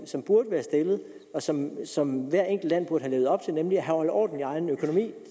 som burde være stillet og som som hvert enkelt land burde have levet op til nemlig at holde orden i egen økonomi